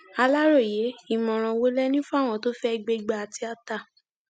aláròye ìmọràn wo lẹ ní fáwọn tó fẹẹ gbégbá tíátá